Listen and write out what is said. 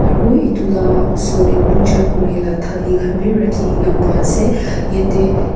Aro etu laga osor dae pooja kurey la thali khan bhi rakhina pa ase yatheh--